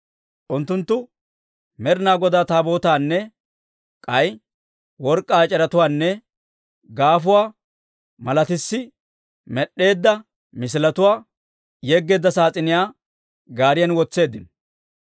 Unttunttu Med'inaa Godaa Taabootaanne k'ay work'k'aa ec'eretuwaanne gaafuwaa malatissi med'd'eedda misiletuwaa yeggeedda saas'iniyaa gaariyan wotseeddino.